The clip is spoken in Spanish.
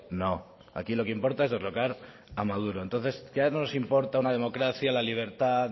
no aquí lo que importa es derrocar a maduro entonces ya no nos importa una democracia la libertad